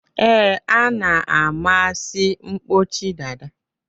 Ee, a na-amasi mkpọchi dada